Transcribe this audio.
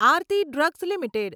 Aarti drugs limited